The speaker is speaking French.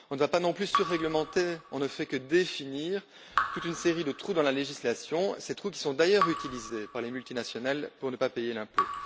On ne va pas, non plus, surréglementer, on ne fait que définir toute une série de trous dans la législation, ces trous qui sont d'ailleurs utilisés par les multinationales pour ne pas payer d'impôt.